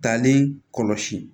Talen kɔlɔsi